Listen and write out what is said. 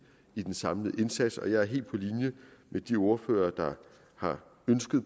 i den samlede indsats og jeg er helt på linje med de ordførere der har ønsket